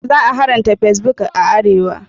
Za a haramta fesbok a arewa.